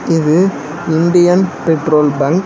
இது Indian petrol bunk .